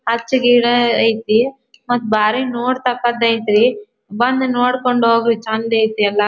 ಅಚ್ ಗಿಡ ಐತಿ ಮತ್ತ ಭಾರಿ ನೋಡ್ತಕ್ಕದ್ದ ಐತ ರಿ ಬಂದ್ ನೋಡ್ಕೊಂಡ್ ಹೋಗಿ ಚಂದ್ ಐತ ಎಲ್ಲಾ.